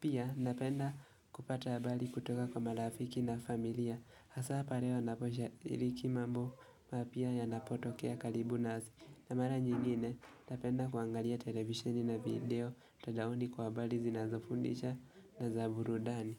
Pia napenda kupata habali kutoka kwa marafiki na familia. Hasa pale wanapo sha iliki mambo mapya yanapotokea kalibu nasi. Na mara nyingine napenda kuangalia televisheni na video mtandaoni kwa habali zinazofundisha na za burudani.